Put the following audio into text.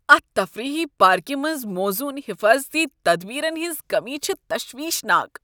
اتھ تفریحی پارکہ منٛز موزون حفاظتی تدبیرن ہنٛز کٔمی چھِ تشویشناک۔